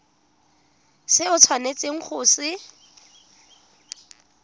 se o tshwanetseng go se